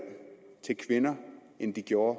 til kvinder end de gjorde